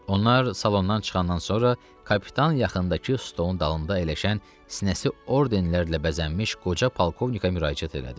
Onlar salondan çıxandan sonra kapitan yaxındakı stolun dalında əyləşən sinəsi ordenlərlə bəzənmiş qoca polkovnikə müraciət elədi.